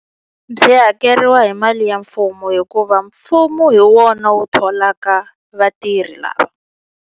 Byi hakeriwa hi mali ya mfumo hikuva mfumo hi wona wu tholaka vatirhi lava.